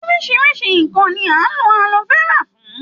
Oríṣiríṣi ǹǹkan ni à ń lo alo fẹ́rà fún.